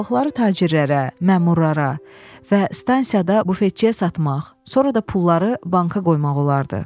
Balıqları tacirlərə, məmurlara və stansiyada bufetçiyə satmaq, sonra da pulları banka qoymaq olardı.